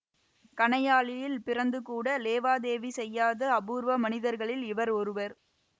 கணையாழியில் பிறந்துங்கூட லேவாதேவி செய்யாத அபூர்வ மனிதர்களில் இவர் ஒருவர்